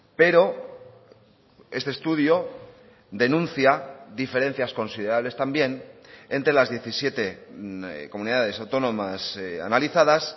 pero este estudio denuncia diferencias considerables también entre las diecisiete comunidades autónomas analizadas